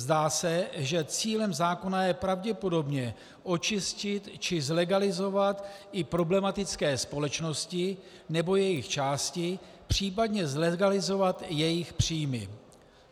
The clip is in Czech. Zdá se, že cílem zákona je pravděpodobně očistit či zlegalizovat i problematické společnosti nebo jejich části, případně zlegalizovat jejich příjmy.